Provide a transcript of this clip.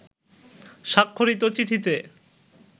স্বাক্ষরিত চিঠিতে